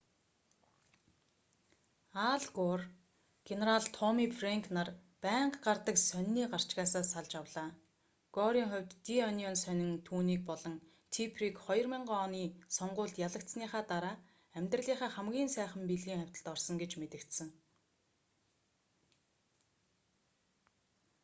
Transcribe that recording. ал гор генерал томми фрэнк нар байнга гардаг сонины гарчгаасаа салж авлаа горын хувьд ди онион сонин түүнийг болон типперийг 2000 оны сонгуульд ялагдсаныхаа дараа амьдралынхаа хамгийн сайхан бэлгийн хавьталд орсон гэж мэдэгдсэн